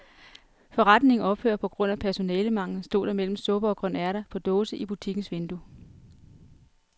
Forretningen ophører på grund af personalemangel, stod der mellem supper og grønærter på dåse i butikkens vindue.